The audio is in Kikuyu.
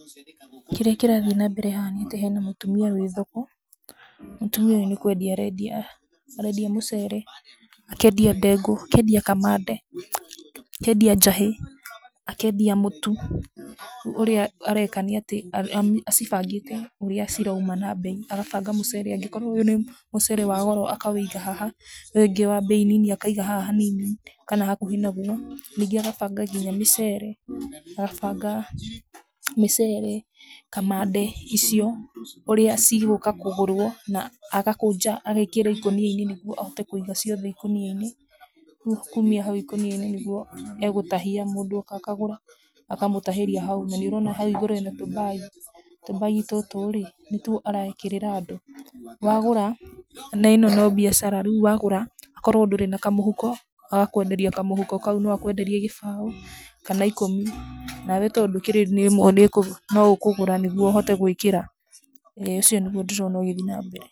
Kĩrĩa kĩrathiĩ na mbere haha nĩ atĩ kwĩna mũtumia wĩ thoko, mũtumia ũyũ nĩ kwendia arendia, arendia mũcere, akendia ndengũ, akendia kamande, akendia njahĩ, akendia mũtu, ũrĩa areka na atĩ acibangĩte ũrĩa cirauma na mbei, agabanga akorwo ũyũ nĩ mũcere wa goro akawoiga haha, ũyũ ũngĩ wa mbei nini akaiga haha hanini kana hakuhĩ na guo, ningĩ agabanga mĩcere, agabanga mĩcere, kamande icio, ũrĩa cigũka kũgũrwo na na agakũnja agakĩra ikonia-inĩ nĩguo akahota kũiga ciothe ikonia-inĩ, rĩu kuma hau ikonia-inĩ nĩguo egũtahia, mũndũ oka akagũra, akamũtahĩria hau, na nĩ ũrona hau igũrũ hena tũmbagi, tũmbagi tũtũ rĩ nĩ tuo arekĩra andũ, wagũra na ĩno no biacara, rĩu wagũra akorwo ndũrĩ na kamũhuko agakwenderia kamũhuko kau, agakwenderia kĩbaũ kana ikũmi, nawe no ũkogũra nĩguo ũhote gwĩkĩra, ĩĩ ũcio nĩguo ndĩrona ũgĩthiĩ na mbere.